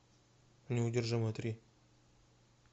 неудержимые три